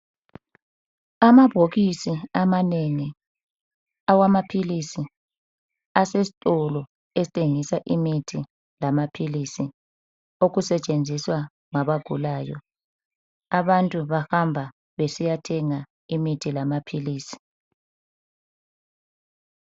Amabhokisi amanengi awamaphilisi, asesitolo esithengisa imithi, lamaphilisi, okusetshenziswa ngabagulayo. Abantu bahamba besiyathenga imithi lamaphilisi.